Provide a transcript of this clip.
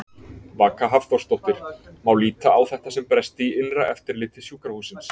Vaka Hafþórsdóttir: Má líta á þetta sem bresti í innra eftirliti sjúkrahússins?